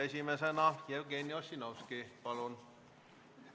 Esimesena Jevgeni Ossinovski, palun!